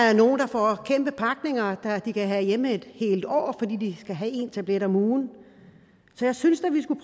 er nogle der får kæmpe pakninger de kan have hjemme et helt år fordi de skal have én tablet om ugen så jeg synes da vi skulle